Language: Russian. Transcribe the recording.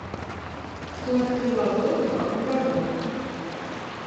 кто открыл азот и в каком году